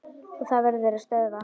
Og það verður að stöðva.